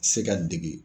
Se ka dege